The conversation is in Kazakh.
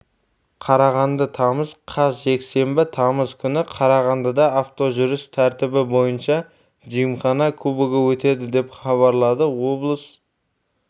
қарағанды тамыз қаз жексенбі тамыз күні қарағандыда автожүріс тәртібі бойынша джимхана кубогы өтеді деп хабарлады облыс